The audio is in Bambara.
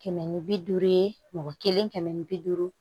Kɛmɛ ni bi duuru ye mɔgɔ kelen kɛmɛ ni bi duuru